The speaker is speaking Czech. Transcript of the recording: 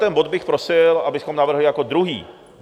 Tento bod bych prosil, abychom navrhli jako druhý.